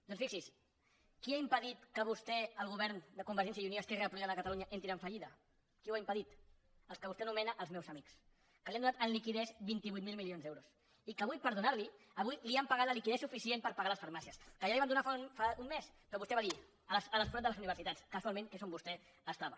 doncs fixi’s qui ha impedit que vostè el govern de convergència i unió i esquerra republicana de catalunya entrin en fallida qui ho ha impedit els que vostè anomena els meus amics que li han donat en liquiditat vint vuit mil milions d’euros i que avui per donar li avui li han pagat la liquiditat suficient per pagar les farmàcies que ja la hi van donar fa un mes però vostè va dir al forat de les universitats casualment que és on vostè estava